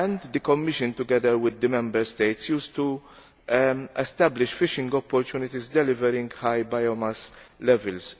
The Commission, together with the Member States, used to establish fishing opportunities delivering high biomass levels.